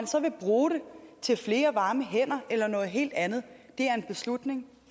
så vil bruge dem til flere varme hænder eller noget helt andet er en beslutning